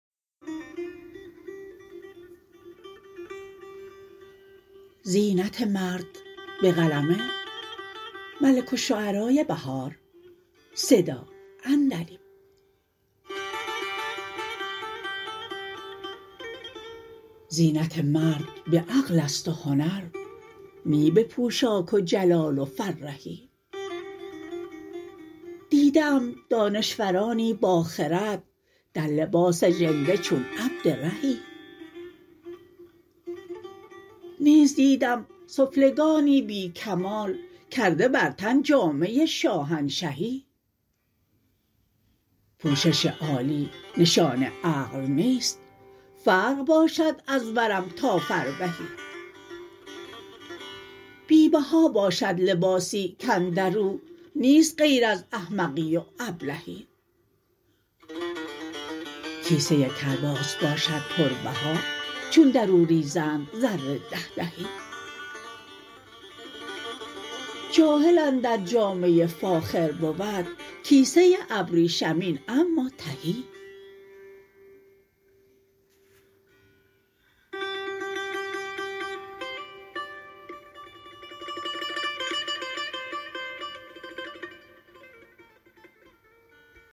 زینت مرد به عقل است و هنر نی به پوشاک و جلال و فرهی دیده ام دانشورانی با خرد در لباس ژنده چون عبد رهی نیز دیدم سفلگانی بی کمال کرده بر تن جامه شاهنشهی پوشش عالی نشان عقل نیست فرق باشد از ورم تا فربهی بی بها باشد لباسی کاندر او نیست غیر از احمقی و ابلهی کیسه کرباس باشد پر بها چون در او ریزند زر دهدهی جاهل اندر جامه فاخر بود کیسه ابریشمین اما تهی